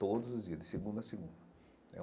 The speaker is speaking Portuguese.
Todos os dias, de segunda a segunda.